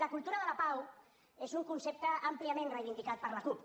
la cultura de la pau és un concepte àmpliament reivindicat per la cup